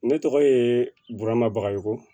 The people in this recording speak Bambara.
Ne tɔgɔ ye burama bajugu